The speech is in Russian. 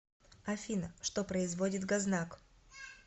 афина что производит гознак